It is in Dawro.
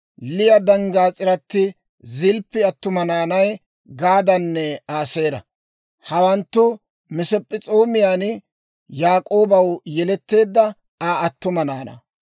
Liya danggaas'iratti Zilppi attuma naanay Gaadanne Aaseera. Hawanttu Masp'p'es'oomiyaan Yaak'oobaw yeletteedda Aa attuma naanaa.